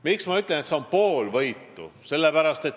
Miks ma ütlen, et see on pool võitu?